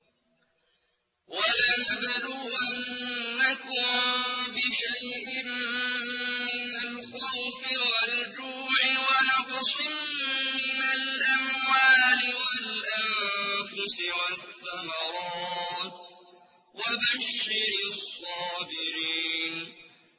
وَلَنَبْلُوَنَّكُم بِشَيْءٍ مِّنَ الْخَوْفِ وَالْجُوعِ وَنَقْصٍ مِّنَ الْأَمْوَالِ وَالْأَنفُسِ وَالثَّمَرَاتِ ۗ وَبَشِّرِ الصَّابِرِينَ